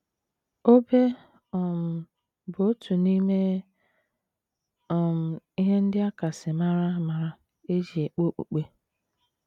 OBE um bụ otu n’ime um ihe ndị a kasị mara amara e ji ekpe okpukpe.